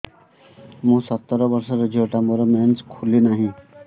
ମୁ ସତର ବର୍ଷର ଝିଅ ଟା ମୋର ମେନ୍ସେସ ଖୁଲି ନାହିଁ